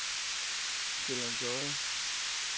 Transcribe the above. Sjællands Odde